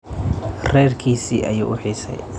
Reerkiisii ayuu uu xiisay.